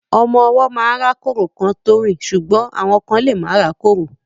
Ọmọ ọwọ́ máa ń rákórò kán tó rìn ṣùgbọ́n àwọn kán lemá rákórò rárá.